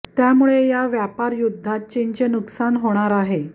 त्यामुळे या व्यापार युद्धात चीनचे नुकसान होणार आहे